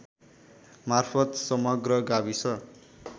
मार्फत समग्र गाविस